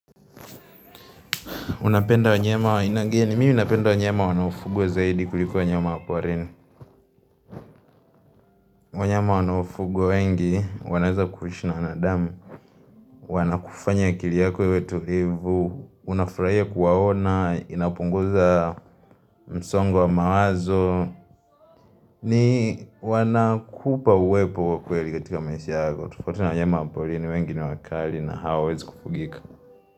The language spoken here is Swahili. Unapenda wanyama wa aina gani, mini napenda wanyama wanaaofugwa zaidi kuliko wanyama wa porini. Wanyama wanaofugwa wengi, wanaweza kulishana wanadamu, wanakufanya akili yako iwe tulivu, unafurahia kuwaona, inapunguza msongo mawazo, ni wanakupa uwepo wakwueli katika maisha yako. Tofauti na wanyama wa porini wengi ni wakali na hawawezi kufugika.